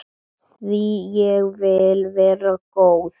Því ég vil vera góð.